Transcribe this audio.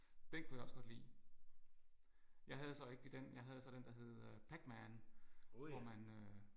Den kunne jeg også godt lide. Jeg havde så ikke den jeg havde så den der hed Pac-Man hvor man